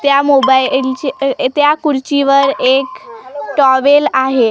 त्या मोबाईलचे त्या खुर्चीवर एक टॉवेल आहे.